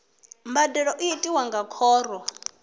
mbadelo i tiwa nga khoro